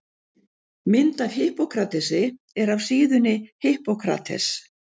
Mynd af Hippókratesi er af síðunni Hippocrates.